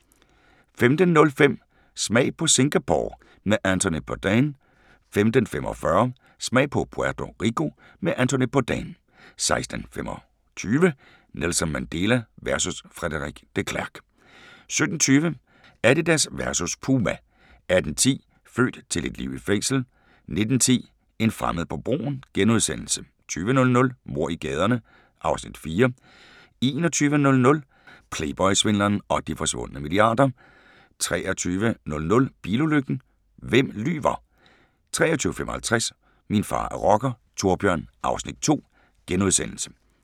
15:05: Smag på Singapore med Anthony Bourdain * 15:45: Smag på Puerto Rico med Anthony Bourdain 16:25: Nelson Mandela versus Frederik de Klerk * 17:20: Adidas versus Puma 18:10: Født til et liv i fængsel 19:10: En fremmed på broen * 20:00: Mord i gaderne (Afs. 4) 21:00: Playboy-svindleren og de forsvundne milliarder 23:00: Bilulykken – hvem lyver? 23:55: Min far er rocker - Thorbjørn (Afs. 2)*